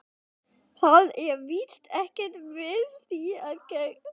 Það er víst ekkert við því að gera.